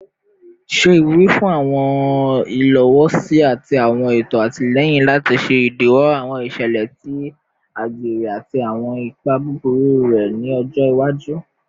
Ṣe iwuri fun awọn ilowosi ati awọn eto atilẹyin lati ṣe idiwọ awọn iṣẹlẹ ti agbere ati awọn ipa buburu rẹ ni ọjọ iwaju